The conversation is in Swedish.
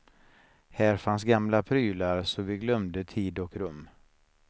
Här fanns gamla prylar så vi glömde tid och rum.